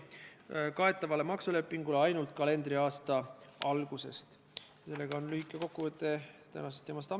Ehk raudtee-ettevõtjad oleksid pidanud juba 2014. aastal olukorda teadvustama ja selleks valmistuma.